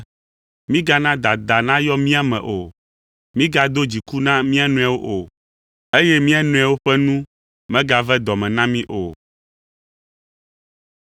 Mígana dada nayɔ mía me o, mígado dziku na mía nɔewo o, eye mía nɔewo ƒe nu megave dɔ me na mí o.